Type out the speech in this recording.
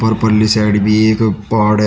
और उपरली साइड भी एक पहाड़ है।